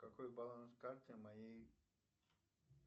какой баланс карты моей